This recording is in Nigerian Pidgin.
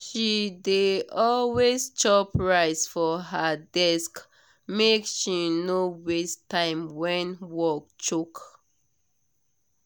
she dey always chop rice for her desk make she no waste time when work choke.